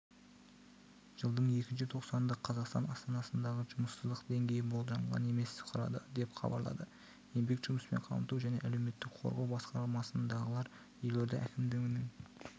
жылдың екінші тоқсанында қазақстан астанасындағы жұмыссыздық деңгейі болжанған емес құрады деп хабарлады еңбек жұмыспен қамту және әлеуметтік қорғау басқармасындағылар елорда әкімдігінің